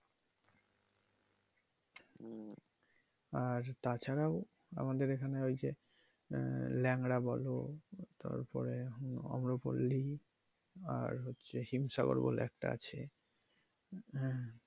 আর তাছাড়াও আমাদের এখানে ওই যে আহ ল্যাংড়া বলো তারপরে আম্রপলি আর হচ্ছে হিমসাগড় বলে একটা আছে হ্যা।